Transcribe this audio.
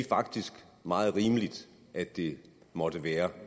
faktisk meget rimeligt at det måtte være